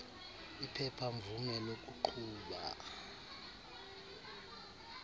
iphepha mvume lokuqhuba